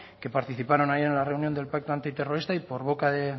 que participaron ayer en la reunión del pacto antiterrorista y por boca de